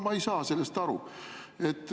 Ma ei saa sellest aru.